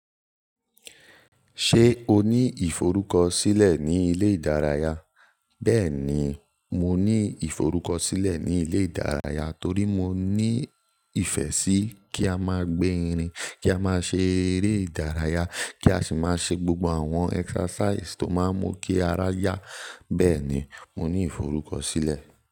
Ṣé o ní ìforúkọ̀ṣílẹ̀ ní ilẹ̀ ìdáràyà? Bẹẹni, mo ní ìforúkọ̀ṣílẹ̀ ní ilẹ̀ ìdáràyà torí mo ní ìfẹ́ sí kí a má gbé ìrìn, kí a má ṣẹ́ eré ìdáràyà, kí a sì má ṣẹ́ gbogbo àwọn exercise tó máa n mú kí ara yá. Bẹẹni, mo ní ìforúkọ̀ṣílẹ̀